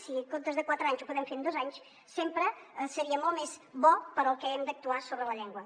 si en comptes de en quatre anys ho podem fer en dos anys sempre seria molt més bo per al que hem d’actuar sobre la llengua